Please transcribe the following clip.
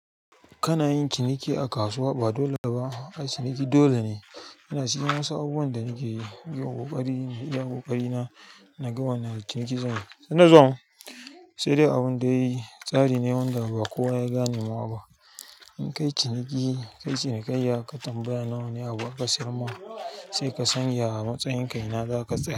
Kana yin ciniki a kasuwa? Ba dole ba. Ai ciniki dole ne. Ina siyan wasu abubuwan da nake yi, yi wa ƙoƙari ne, idan ƙoƙari na, na ga wani na ciniki da zan yi. Sai dai abin dai tsari ne wanda ba kowa ya gane ba in kayi ciniki, kayi cinikayya ka tambaya nawa ne a wurin da suka sayarma, sai ka san matsayin ka, ina za ka sayar.